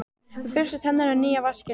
Við burstum tennurnar í nýja vaskinum.